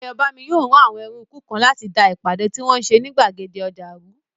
Ayọ̀bámi yóò rán àwọn ẹrúukú kan láti da ìpàdé tí wọ́n n ṣe ní gbàgede ọjà rú